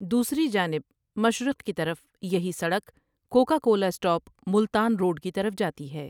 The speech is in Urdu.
دوسری جانب مشرق کی طرف یہی سڑک Coca Cola stop Multan road کی طرف جاتی ہے ۔